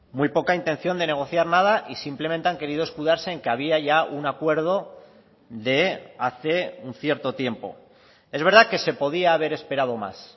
muy poca intención de negociar nada y simplemente han querido escudarse en que había ya un acuerdo de hace un cierto tiempo es verdad que se podía haber esperado más